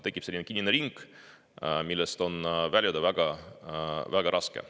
Tekib kinnine ring, millest on väljuda väga-väga raske.